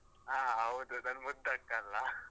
ಹಾ ಹೌದು ನನ್ನ್ ಮುದ್ದು ಅಕ್ಕ ಅಲ್ಲಾ .